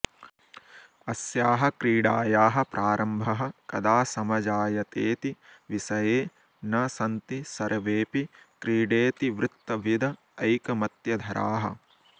अस्याः क्रीडायाः प्रारम्भः कदा समजायतेति विषये न सन्ति सर्वेऽपि क्रीडेतिवृत्तविद ऐकमत्यधराः